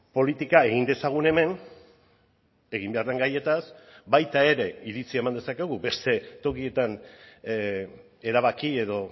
politika egin dezagun hemen egin behar den gaietaz baita ere iritzia eman dezakegu beste tokietan erabaki edo